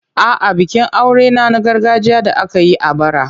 A'a, bikin aurena na gargajiya da aka yi a bara.